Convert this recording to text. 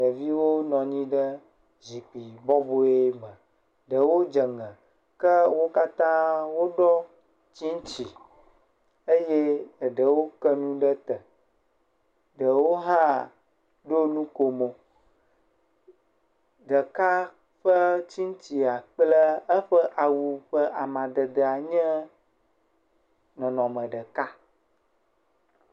Ɖeviwo nɔ anyi ɖe zikpui bɔbɔe me, eɖewo dze ŋe, ke wo katã woɖɔ tsitsi eye eɖewo ke nu ɖe te, ɖewo hã ɖo nukomo, ɖeka hã eƒe tsitsia kple eƒe awu ƒe amadede nye nɔnɔme ɖeka.